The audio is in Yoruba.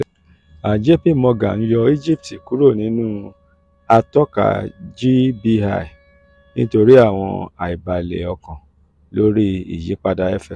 jp morgan yọ egypt kuro ninu atọka gbi-em nitori awọn aibale okan lori iyipada fx